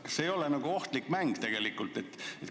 Kas see ei ole ohtlik mäng tegelikult?